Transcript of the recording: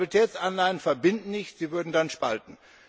Stabilitätsanleihen verbinden nicht, sie würden dann spalten.